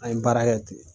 An ye baara kɛ ten